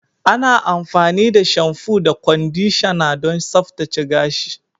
Ana amfani da shamfu da kwandishana don tsaftace gashi.